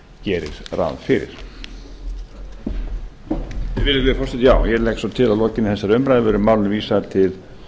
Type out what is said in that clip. gerir ráð fyrir virðulegi forseti ég legg svo til að að lokinni þessari umræðu verði málinu vísað til